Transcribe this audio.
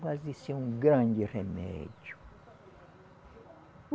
Mas isso é um grande remédio.